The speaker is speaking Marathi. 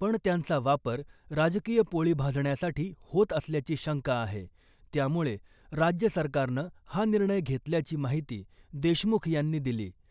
पण त्यांचा वापर राजकीय पोळी भाजण्यासाठी होत असल्याची शंका आहे , त्यामुळे राज्य सरकारनं हा निर्णय घेतल्याची माहिती देशमुख यांनी दिली .